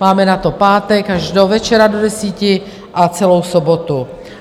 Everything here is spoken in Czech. Máme na to pátek až do večera do deseti a celou sobotu.